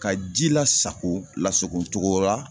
Ka ji lasako lasako cogo la